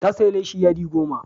Ta sayi leshi yadi goma.